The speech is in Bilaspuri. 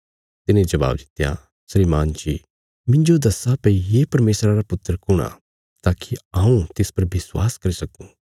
तिने जबाब दित्या श्रीमान जी मिन्जो दस्सा भई ये परमेशरा रा पुत्र कुण आ ताकि हऊँ तिस पर विश्वास करी सक्कूँ